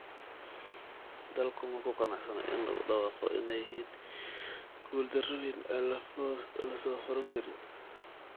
Dalku ma ku qanacsanaa in lagu dhawaaqo inay yihiin guuldarrooyin aan la soo furan karin?